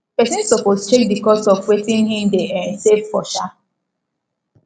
persin suppose check the cost of wetin him de um save for um